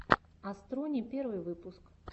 астрони первый выпуск